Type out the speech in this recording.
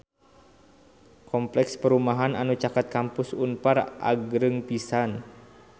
Kompleks perumahan anu caket Kampus Unpar agreng pisan